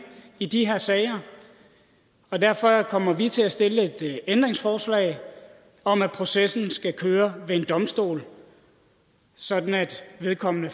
i de her sager og derfor kommer vi til at stille et ændringsforslag om at processen skal køre ved en domstol sådan at vedkommende